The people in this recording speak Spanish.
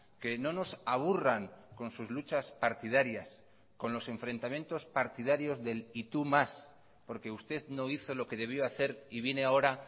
que no nos aburran con sus luchas partidarias con los enfrentamientos partidarios del y tú más porque usted no hizo lo que debió hacer y viene ahora